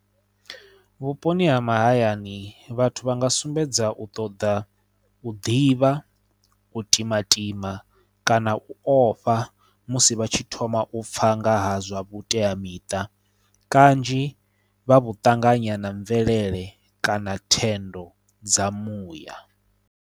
Vhuponi ha mahayani vhathu vha nga sumbedza u ṱoḓa u ḓivha u timatima kana u ofha musi vha tshi thoma u pfha nga ha zwa vhuteamiṱa kanzhi vha vhu ṱanganya na mvelele kana thendo dza muya.